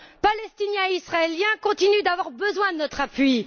Palestiniens et Israéliens continuent d'avoir besoin de notre appui.